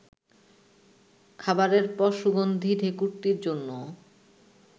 খাবারের পর সুগন্ধী ঢেঁকুরটির জন্যও